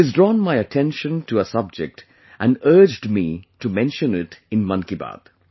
She has drawn my attention to a subject and urged me to mention it in 'Man kiBaat'